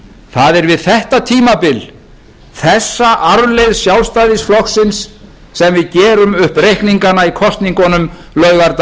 það er við þetta tímabil þessa arfleifð sjálfstæðisflokksins sem við gerum upp reikningana í kosningunum laugardaginn